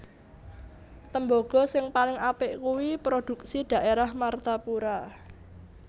Tembogo sing paling apik kui produksi daerah Martapura